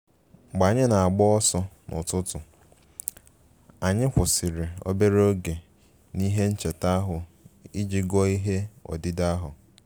Mgbe anyị na-agba ọsọ n’ụtụtụ, anyị kwụsịrị obere oge n’ihe ncheta ahụ iji gụọ ihe odide ahụ